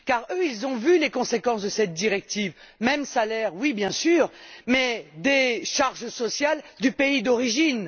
Eux ont vu les conséquences de cette directive même salaire oui, bien sûr mais des charges sociales du pays d'origine.